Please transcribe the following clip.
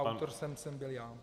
Autorem jsem byl já.